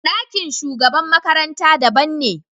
Ɗakin shugaban makaranta daban ne.